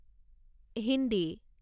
Hindi